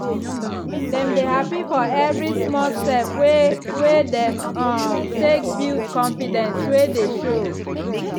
dem dey happy for every small step wey wey dem um take to build confidence way dey show.